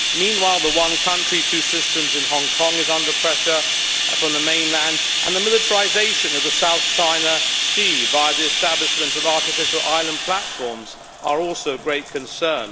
Meanwhile, the one-country-two-systems in Hong Kong is under pressure from the mainland, and the militarisation of the South China Sea by the establishment of artificial island platforms are also of great concern.